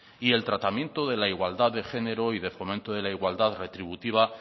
y el tratamiento de la igualdad de género y de fomento de la igualdad retributivas